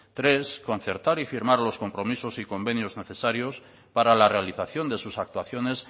tres concertar y firmar los compromisos y convenios necesarios para la realización de sus actuaciones